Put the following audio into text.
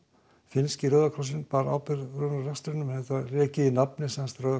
finnski Rauði krossinn bar ábyrgð á rekstrinum en það var rekið í nafni Rauða